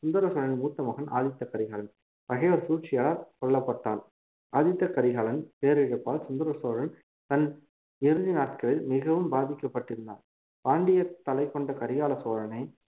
சுந்தர சோழன் மூத்த மகன் ஆதித்த கரிகாலன் பகைவர் சூழ்ச்சியால் கொல்லப்பட்டான் ஆதித்த கரிகாலன் பேரிழப்பால் சுந்தர சோழன் தன் இறுதி நாட்களில் மிகவும் பாதிக்கப்பட்டிருந்தார் பாண்டியர் தலை கொண்ட கரிகால சோழனை